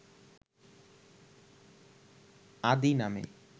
‘আদি’ নামে